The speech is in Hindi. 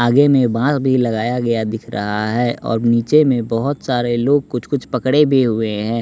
आगे में बाँस भी लगाया गया दिख रहा है और नीचे में बहुत सारे लोग कुछ कुछ पकड़े भी हुए हैं।